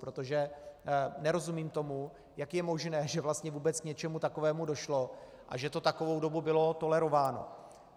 Protože nerozumím tomu, jak je možné, že vlastně vůbec k něčemu takovému došlo a že to takovou dobu bylo tolerováno.